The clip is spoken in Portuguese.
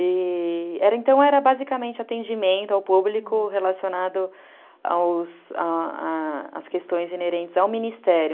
Então, era basicamente atendimento ao público relacionado aos, às questões inerentes ao Ministério.